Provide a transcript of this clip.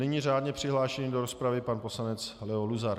Nyní řádně přihlášený do rozpravy pan poslanec Leo Luzar.